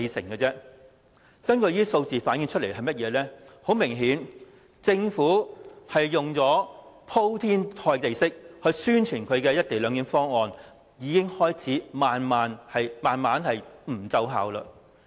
以上數字明確反映，政府使用鋪天蓋地式宣傳的"一地兩檢"方案，已經開始慢慢不奏效。